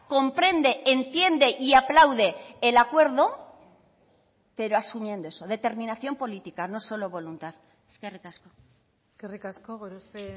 comprende entiende y aplaude el acuerdo pero asumiendo eso determinación política no solo voluntad eskerrik asko eskerrik asko gorospe